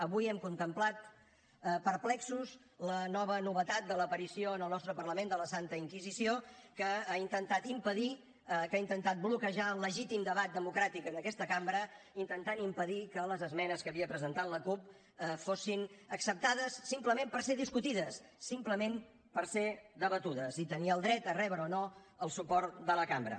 avui hem contemplat perplexos la nova novetat de l’aparició en el nostre parlament de la santa inquisició que ha intentat impedir que ha intentat bloquejar el legítim debat democràtic en aquesta cambra intentant impedir que les esmenes que havia presentat la cup fossin acceptades simplement per ser discutides simplement per ser debatudes i tenir el dret a rebre o no el suport de la cambra